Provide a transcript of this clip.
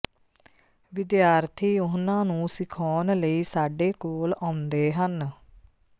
ਵਿਦਿਆਰਥੀ ਉਹਨਾਂ ਨੂੰ ਸਿਖਾਉਣ ਲਈ ਸਾਡੇ ਕੋਲ ਆਉਂਦੇ ਹਨ